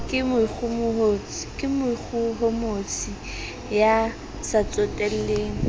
ke moikgohomosi ya sa tsotelleng